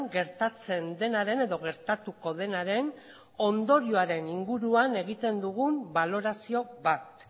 gertatzen denaren edo gertatuko denaren ondorioaren inguruan egiten dugun balorazio bat